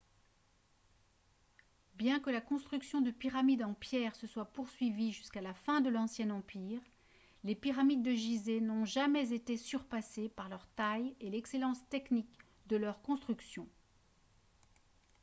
bien que la construction de pyramides en pierre se soit poursuivie jusqu'à la fin de l'ancien empire les pyramides de gizeh n'ont jamais été surpassées par leur taille et l'excellence technique de leur construction